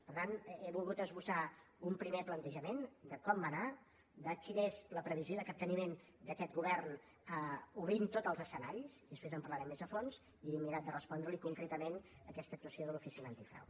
per tant he volgut esbossar un primer plantejament de com va anar de quina és la previsió de capteniment d’aquest govern obrint tots els escenaris i després en parlarem més a fons i he mirat de respondre li concretament aquesta actuació de l’oficina antifrau